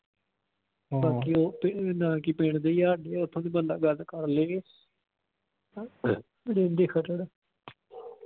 ਬਾਕੀ ਉਹ ਨਾਂ ਕੀ ਪਿੰਡ ਦੇ ਹੀ ਆ ਹਾਡੇ ਬੰਦਾ ਗੱਲ ਕਰਲਾਂਗੇ।